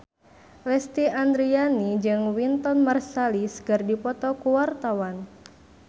Lesti Andryani jeung Wynton Marsalis keur dipoto ku wartawan